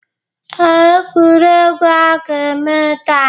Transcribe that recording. Ee, egwuregwu a ga-eme taa.